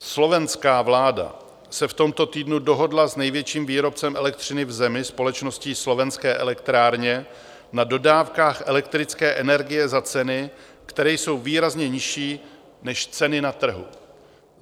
Slovenská vláda se v tomto týdnu dohodla s největším výrobcem elektřiny v zemi, společností Slovenské elektrárne, na dodávkách elektrické energie za ceny, které jsou výrazně nižší než ceny na trhu.